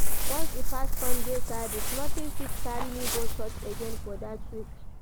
Once e pass sunday service nothing fit carry me go church again for that week